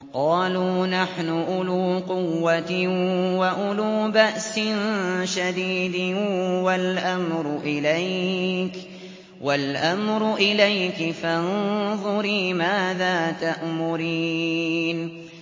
قَالُوا نَحْنُ أُولُو قُوَّةٍ وَأُولُو بَأْسٍ شَدِيدٍ وَالْأَمْرُ إِلَيْكِ فَانظُرِي مَاذَا تَأْمُرِينَ